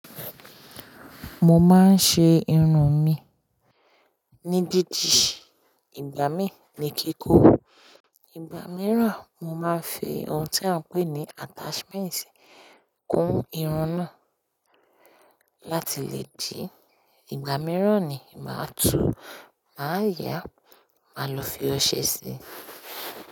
Mo máa ń ṣe irun mi ní dídi, ìgbà mí ní kíkó, ìgbà mìíràn mo máa ń fi ohun tí a ń pè ní attachment kún irun náà láti lè dìí. Ìgbà mìíràn ni màá túu, màá yáá, màá lọ fi ọṣẹ síi.